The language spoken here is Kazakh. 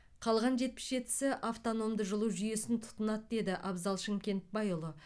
қалған жетпіс жетісі автономды жылу жүйесін тұтынады деді абзал шымкентбайұлы